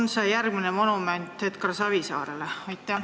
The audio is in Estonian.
Kas see on järgmine monument Edgar Savisaarele?